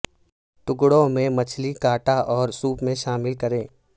ٹکڑوں میں مچھلی کاٹا اور سوپ میں شامل کریں